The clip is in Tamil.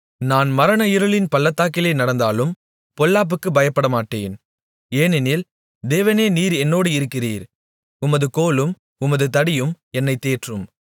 நான் மரண இருளின் பள்ளத்தாக்கிலே நடந்தாலும் பொல்லாப்புக்குப் பயப்படமாட்டேன் ஏனெனில் தேவனே நீர் என்னோடு இருக்கிறீர் உமது கோலும் உமது தடியும் என்னைத் தேற்றும்